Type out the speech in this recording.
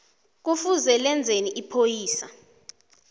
kufuze lenzeni ipholisa